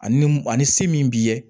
Ani mun ani sin min b'i ye